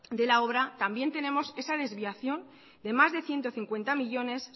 de la obra también tenemos esa desviación de más de ciento cincuenta millónes